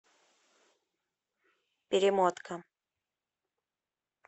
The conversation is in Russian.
перемотка